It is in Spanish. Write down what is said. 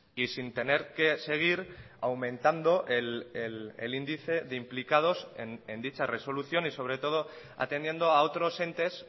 y sin tener que seguir aumentando el índice de implicados en dicha resolución y sobre todo atendiendo a otros entes